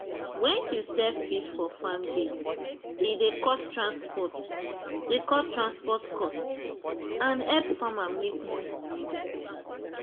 when you sell fish for farm gate e dey cut transport dey cut transport cost and help farmer make more money direct.